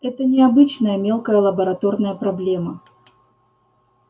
это не обычная мелкая лабораторная проблема